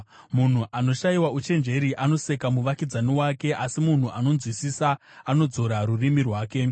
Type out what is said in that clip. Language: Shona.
Munhu anoshayiwa uchenjeri anoseka muvakidzani wake, asi munhu anonzwisisa anodzora rurimi rwake.